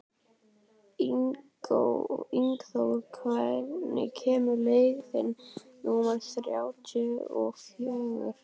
Ingþór, hvenær kemur leið númer þrjátíu og fjögur?